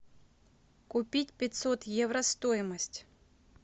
купить пятьсот евро стоимость